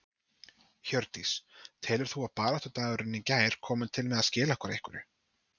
Hjördís: Telur þú að baráttudagurinn í gær komi til með að skila okkur einhverju?